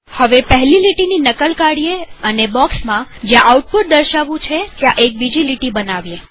હવે પહેલી લીટીની નકલ કાઢીએ અને બોક્સમાં જ્યાં આઉટપુટ દર્શાવવું છે ત્યાં એક બીજી લીટી બનાવીએ